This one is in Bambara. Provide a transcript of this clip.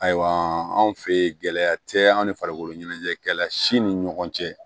Ayiwa anw fɛ yen gɛlɛya tɛ an ni farikolo ɲɛnajɛ kɛla si ni ɲɔgɔn cɛ